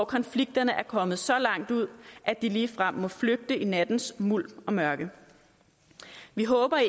konflikterne er kommet så langt ud at de ligefrem må flygte i nattens mulm og mørke vi håber